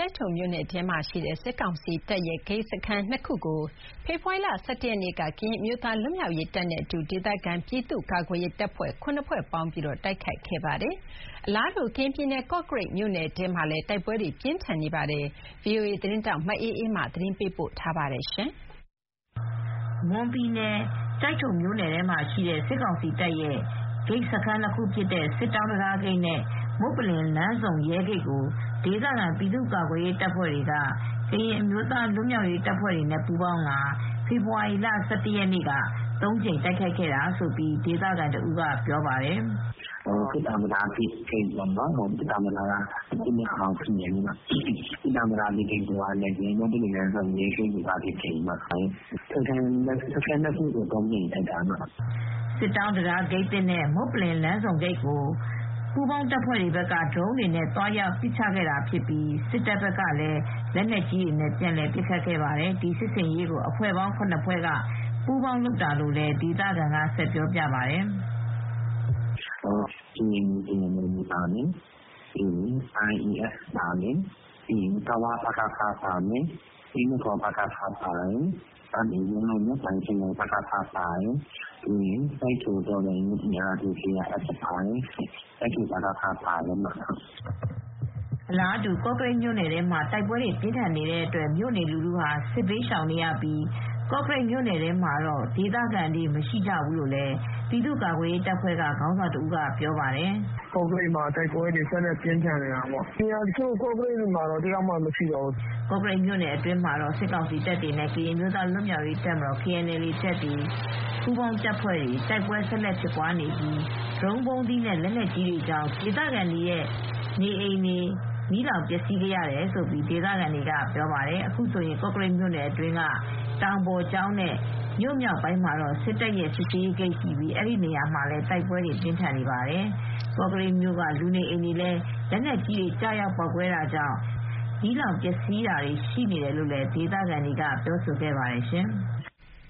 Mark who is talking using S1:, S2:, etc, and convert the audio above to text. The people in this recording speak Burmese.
S1: ိုက်ထိုမြို့နယ်ထဲမှာရှိတဲ့ စစ်ကောင်စီတပ်ရဲ့ဂိတ်စခန်း (၂) ခုကို ဖေဖော်ဝါရီလ ၁၁ ရက်နေ့က ကရင်အမျိုးသားလွတ်မြောက်ရေးတပ်နဲ့အတူ ဒေသခံပြည်သူ့ကာကွယ်ရေးတပ်ဖွဲ့ ၇ ဖွဲ့ပေါင်းပြီး တိုက်ခိုက်ခဲ့ပါတယ်။ ကရင်ပြည်နယ် ကော့ကရိတ်မြို့နယ်ထဲမှာလည်း အလားတူ တိုက်ပွဲတွေပြင်းထန်နေပါတယ်။ ဒီသတင်းကို ဗွီအိုအေသတင်းထောက် မအေးအေးမာက သတင်းပေးပို့ထားပါတယ်။
S2: မွန်ပြည်နယ်၊ ကျိုက်ထိုမြို့နယ်ထဲမှာရှိတဲ့ စစ်ကောင်စီတပ်ရဲ့ဂိတ်စခန်း ၂ ခုဖြစ်တဲ့ စစ်တောင်းတံတားဂိတ်နဲ့ မုပ္ပလင်လမ်းဆုံရဲဂိတ်ကို ဒေသခံ ပြည်သူ့ကာကွယ်ရေးတပ်ဖွဲ့တွေနဲ့ ကရင်အမျိုးသားလွတ်မြာက်ရေးတပ်နဲ့ပူးပေါင်းတပ်တွေက ဖေဖေါ်ဝါရီလ ၁၁ ရက် တနေ့တည်းမှာပဲ သုံးကြိမ်တိုက်ခိုက်ခဲ့တာလို့ ဒေသခံတဦးကပြောပါတယ်။ "စစ်
S3: တောင်းတံတားဂိတ်ပေါ့နော်၊ စစ်တောင်းတံတားက အသစ်နဲ့အဟောင်း ဂိတ်နှစ်ခုရှိတယ်။ မုပ္ပလင်လမ်းဆုံရဲဂိတ်နဲ့ စခန်း ၂ ခုလုံးကို ၃ ကြိမ်တိုက်ခိုက်တာပါ။
S2: " စစ်တောင်းတံတားဂိတ်သစ်နဲ့မုပ္ပလင်လမ်းဆုံဂိတ်ကို ပူးပေါင်းအဖွဲ့တွေက ဒရုန်းတွေနဲ့သွားချခဲ့တာဖြစ်ပြီး စစ်တပ်ဘက်ကလည်း လက်နက်ကြီးတွေနဲ့ပြန်လည်ပစ်ခတ်ခဲ့ပါတယ်။ ဒီစစ်ဆင်ရေးကို အဖွဲ့ပေါင်း ၇ ဖွဲ့က ပူးပေါင်းလုပ်တာဖြစ်တယ်လို့လည်း ပြောပါတယ်။ "က
S3: ရင်အမျိုးသားလွတ်မြောက်ရေးတပ်မတော် - KNLA ပါမယ်။ Iron Adventure Force (IAF)ပါတယ်။ ကဝ ပကဖ ပါတယ်။ Drone Team၊ အင်းတကော် ပကဖ ပါတယ်။ Drone Team၊ ရန်ကုန်မြောက်ပိုင်းခရိုင် ပကဖ ပါတယ်။ Drone Team ၊ ကျိုက်ထိုတော်လှန်ရေးအင်အားစု KRF နဲ့ကျိုက်ထို ပကဖပါပါတယ်။
S2: " အလားတူ ကော့ကရိတ်မှာလည်း တိုက်ပွဲပြင်းထန်တဲ့အတွက် မြို့နေလူထုဟာ စစ်ဘေးရှောင်နေရပြီး ကော့ကရိတ်မြို့ထဲမှာတော့ နေထိုင်သူ မရှိတော့ဘူးလို့ ပြည်သူ့ကာကွယ်ရေးတပ်ဖွဲ့ခေါင်းဆောင်တဦးကပြောပါတယ်။ "ကော့ကရိတ်မြို့မှာ ဆက်ပြီးတေ့ာ တိုက်ပွဲတွေ ပြင်းထန်နေတာပေါ့။ ကော့ကရိတ်မြို့ဘက်မှာတော့ လူက တယောက်မှမရှိသလောက်ပဲ။" ကော့ကရိတ်မြို့အတွင်းမှာတော့ စစ်ကောင်စီတပ်တွေနဲ့ ကရင်အမျိုးသားလွတ်မြောက်ရေးတပ်မတော်- KNLA ပူးပေါင်းတပ်တွေ တိုက်ပွဲဆက်လက်ဖြစ်ပွားနေပြီး ဒရုန်းဗုံးသီးနဲ့ လက်နက်ကြီးတွေကျနေတာကြောင့် မြို့ခံလူနေအိမ်တွေ နေ့စဉ်မီးလောင်ပျက်စီးခဲ့တယ်လို့ ဒေသခံတွေက ဆိုပါတယ်။ အခုဆိုရင် ကော့ကရိတ်မြို့အတွင်းက တောင်ပေါ်ကျောင်းနဲ့ မြို့ရဲ့မြောက်ပိုင်းအထွက်မှာ စစ်တပ်ရဲ့ စစ်ဆေးဂိတ်ရှိပြီး အဲဒီနေရာမှာ တိုက်ပွဲတွေ ပြင်းထန်နေပါတယ်။ ကော့ကရိတ်မြို့က လူနေအိမ်တွေလည်း လက်နက်ကြီးတွေကျရောက်ပေါက်ကွဲတာကြောင့် မီးလောင်ပျက်စီးတာတွေလည်းရှိနေတယ်လို့ ဒေသခံတွေကပြောဆိုကြပါတယ်ရှင်။